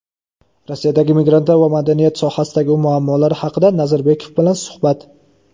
Rossiyadagi migrantlar va madaniyat sohasidagi muammolar haqida Nazarbekov bilan suhbat.